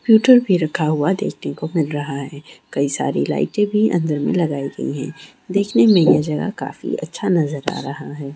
Computer भी रखा हुआ देखने को मिल रहा है कई सारी लाइटें भी अंदर में लगाई गई हैं देखने में यह जगह काफी अच्छा नजर आ रहा है।